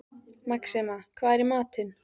Maxima, hvað er í matinn?